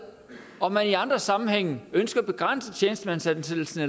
om man i andre sammenhænge ønsker at begrænse tjenestemandsansættelser